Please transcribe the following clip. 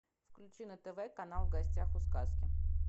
включи на тв канал в гостях у сказки